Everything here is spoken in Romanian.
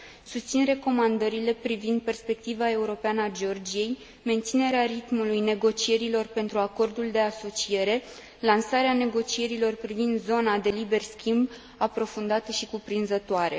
Susțin recomandările privind perspectiva europeană a Georgiei, menținerea ritmului negocierilor pentru acordul de asociere, lansarea negocierilor privind zona de liber schimb aprofundate și cuprinzătoare.